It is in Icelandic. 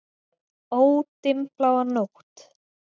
Ó, dimmbláa nótt!